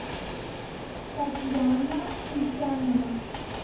татьяна ульянова